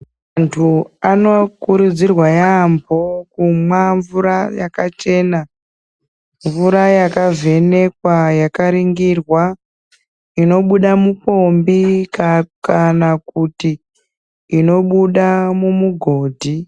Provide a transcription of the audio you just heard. Vantu anokurudzirwa yaamho kumwa mvura yakachena, mura yakavhenekwa, yakaningirwa inobuda mumupombi kana kuti inobuda mumugodhi.